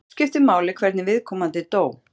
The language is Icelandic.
Oft skiptir máli hvernig viðkomandi dó.